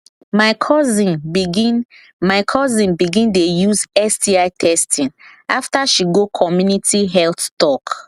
my cousin begin my cousin begin dey use sti testing after she go community health talk